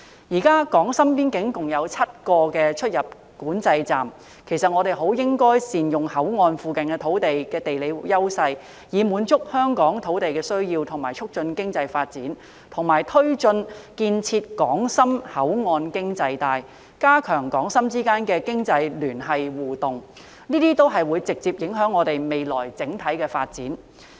現時港深邊境共有7個出入境管制站，我們很應該善用口岸附近土地的地理優勢，以滿足香港的土地需要並促進經濟發展，以及推進建設港深口岸經濟帶，加強港深之間的經濟聯繫和互動，這些都會直接影響香港未來的整體發展。